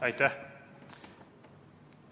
Aitäh!